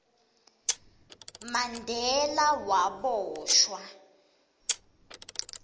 mandela waboshwa